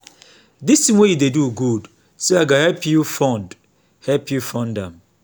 dis thing wey you dey do good so i go help you fund help you fund am